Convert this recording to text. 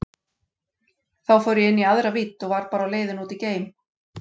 Þá fór ég inn í aðra vídd og var bara á leiðinni út í geim.